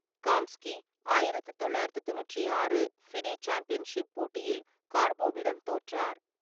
காம்ஸ்கி ஆயிரத்து தொள்ளாயிரத்தி தொண்ணூற்றி ஆறு ஃபிடே சாம்பியன்ஷிப் போட்டியில் கார்போவிடம் தோற்றார்.